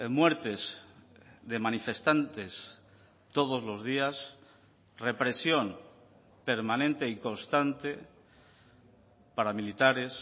muertes de manifestantes todos los días represión permanente y constante paramilitares